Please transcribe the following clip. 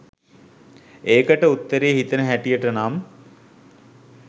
ඒකට උත්තරේ හිතෙන හැටියට නම්